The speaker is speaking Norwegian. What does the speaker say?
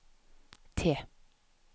T